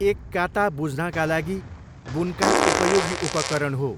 एक काता बुझ्नाका लागि बुनकाई उपयोगी उपकरण हो।